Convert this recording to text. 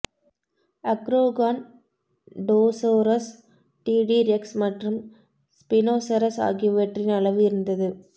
Acrocanthosaurus T T rex மற்றும் spinosaurus ஆகியவற்றின் அளவு இருந்தது